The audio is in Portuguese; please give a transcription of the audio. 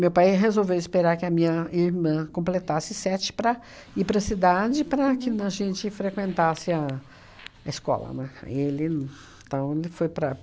pai resolveu esperar que a minha irmã completasse sete para ir para a cidade, para que na gente frequentasse a a escola, né? Foi ele, então ele foi para